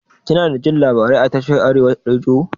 Kinadajin labarai a tashar arewa rediyo?